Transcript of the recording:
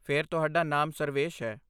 ਫਿਰ, ਤੁਹਾਡਾ ਨਾਮ ਸਰਵੇਸ਼ ਹੈ।